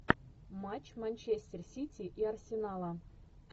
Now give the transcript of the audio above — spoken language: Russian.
матч манчестер сити и арсенала